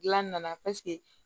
Gilan nana